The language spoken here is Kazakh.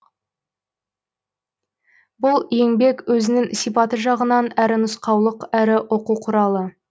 бұл еңбек өзінің сипаты жағынан әрі нұсқаулық әрі оқу құралы